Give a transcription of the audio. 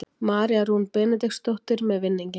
María Rún Benediktsdóttir með vinninginn.